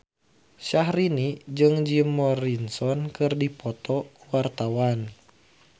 Syahrini jeung Jim Morrison keur dipoto ku wartawan